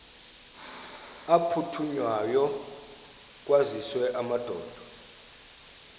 aphuthunywayo kwaziswe amadoda